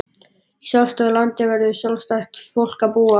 Í sjálfstæðu landi verður sjálfstætt fólk að búa.